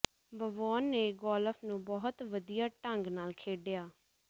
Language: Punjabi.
ਵਵੋਨ ਨੇ ਗੋਲਫ ਨੂੰ ਬਹੁਤ ਵਧੀਆ ਢੰਗ ਨਾਲ ਖੇਡਿਆ